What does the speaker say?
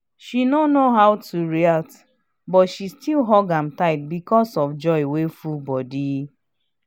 she no know how to react but she still hug am tight because of joy wey full body.